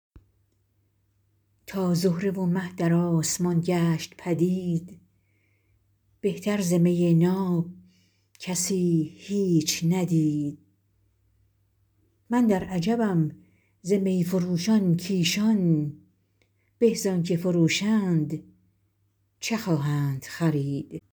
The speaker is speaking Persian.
تا زهره و مه در آسمان گشت پدید بهتر ز می ناب کسی هیچ ندید من در عجبم ز می فروشان کایشان به زآنچه فروشند چه خواهند خرید